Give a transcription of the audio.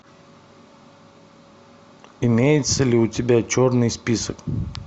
имеется ли у тебя черный список